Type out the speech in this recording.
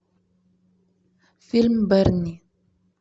фильм берни